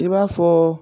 I b'a fɔ